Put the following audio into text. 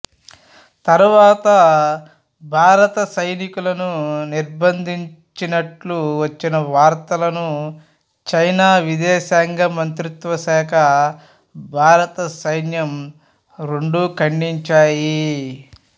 తరువాత భారత సైనికులను నిర్బంధించినట్లు వచ్చిన వార్తలను చైనా విదేశాంగ మంత్రిత్వ శాఖ భారత సైన్యం రెండూ ఖండించాయి